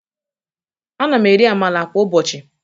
Ana m eri Amala kwa ụbọchị